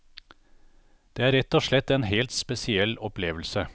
Det er rett og slett en helt spesiell opplevelse.